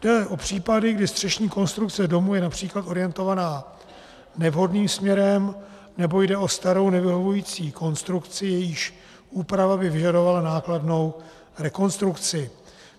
Jde o případy, kdy střešní konstrukce domu je například orientovaná nevhodným směrem nebo jde o starou nevyhovující konstrukci, jejíž úprava by vyžadovala nákladnou rekonstrukci.